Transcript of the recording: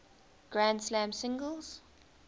grand slam singles